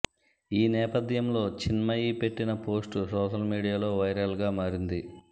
ఈ నేపథ్యంలో చిన్మయి పెట్టిన పోస్ట్ సోషల్ మీడియాలో వైరల్గా మారింది